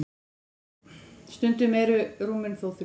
stundum eru rúmin þó þrjú